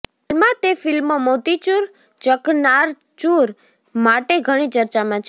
હાલમાં તે ફિલ્મ મોતીચૂર ચકનાચૂર માટે ઘણી ચર્ચામાં છે